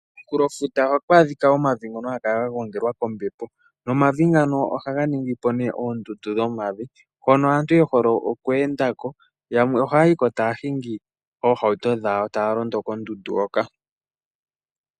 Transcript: Komunkulo futa ohaku adhika omavi ngoka haga kala gangogelwa kombepo nomavi ngaka ohaga ningi oondundu dhomavi hono aantu yehole okweenda ko nayamwe oye hole okuhingako oohawuto dhawo koondundu ndhika.